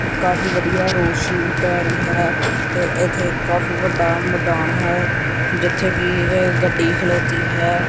ਕਾਫੀ ਵਧੀਆ ਰੌਸ਼ਨੀ ਪੈ ਰਹੀ ਹੈ ਤੇ ਇੱਥੇ ਕਾਫੀ ਵੱਡਾ ਮੈਦਾਨ ਹੈ ਜਿੱਥੇ ਕਿ ਇਹ ਗੱਡੀ ਖਲੋਤੀ ਹੈ।